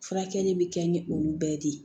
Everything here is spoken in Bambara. Furakɛli bɛ kɛ ni olu bɛɛ de ye